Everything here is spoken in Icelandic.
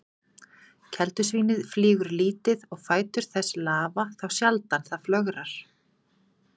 Keldusvínið flýgur lítið og fætur þess lafa þá sjaldan það flögrar.